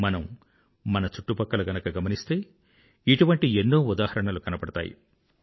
మనం మన చుట్టుపక్కల గనుక గమనిస్తే ఇటువంటి ఎన్నో ఉదాహరణలు కనబడతాయి